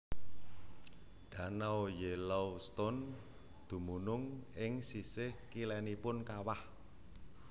Danau Yellowstone dumunung ing sisih kilènipun kawah